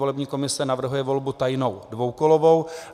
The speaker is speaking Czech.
Volební komise navrhuje volbu tajnou dvoukolovou.